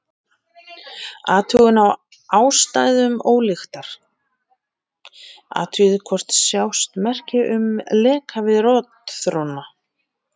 Athugun á ástæðum ólyktar: Athugið hvort sjást merki um leka við rotþróna.